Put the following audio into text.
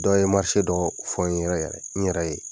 Dɔw ye dɔ fɔ n yɛrɛ ye n yɛrɛ ye.